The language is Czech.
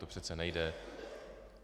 To přece nejde.